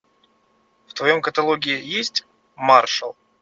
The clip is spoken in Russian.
в твоем каталоге есть маршал